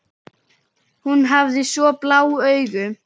Hún hafði svo blá augu.